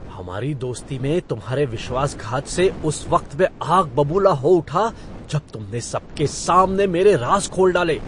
हमारी दोस्ती में तुम्हारे विश्वासघात से उस वक्त मैं आग बबूला हो उठा जब तुमने सबके सामने मेरे राज़ खोल डाले।